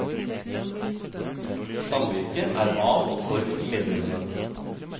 Samvirket er av og for medlemmene.